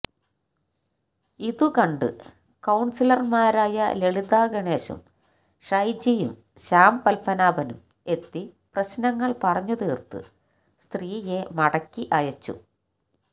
ഇതുകണ്ട് കൌൺസിലർമാരായ ലളിത ഗണേശും ഷൈജിയും ശ്യാം പത്മനാഭനും എത്തി പ്രശ്നങ്ങൾ പറഞ്ഞുതീർത്ത് സ്ത്രീയെ മടക്കി അയച്ചു